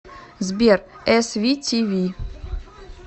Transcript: сбер эс ви ти ви